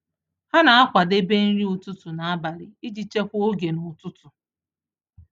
Ha na-akwadebe nri ụtụtụ n’abalị iji chekwaa oge n’ụtụtụ.